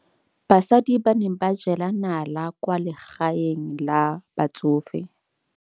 Basadi ba ne ba jela nala kwaa legaeng la batsofe.